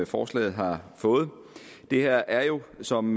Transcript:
forslaget har fået det her er jo som